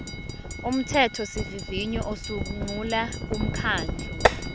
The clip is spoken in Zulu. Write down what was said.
umthethosivivinyo usungula umkhandlu